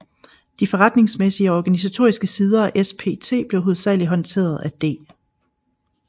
De forretningsmæssige og organisatoriske sider af SPT blev hovedsageligt håndteret af D